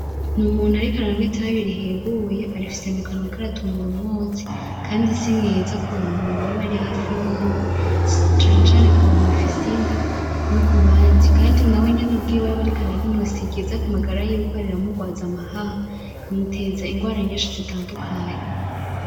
N'Umuntu ariko aranywa itabi rihinguye, arifise mukanwa ariko aratumura umwotsi kandi simwiza kubantu baba bari hafi yiwe, cane cane kubantu bafise inda no kubandi, kandi nawe nyene ubwiwe yaba ariko ararinywa siryiza kumagara yiwe kubera riramugwaza amahaha rikamuteza ingwara nyinshi zitandukanye.